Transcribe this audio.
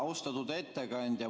Austatud ettekandja!